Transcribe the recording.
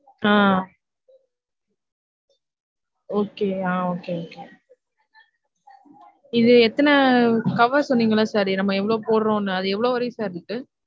ஆஹ் okay ஆஹ் okay okay இது எத்தன cover சொன்னீங்கல sir நாம்ம எவ்ளொ போட்றொமுனு அது எவ்ளொ வரைக்கும் sir இருக்கு